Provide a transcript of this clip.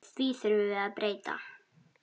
Því þurfum við að breyta.